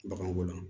Baganko la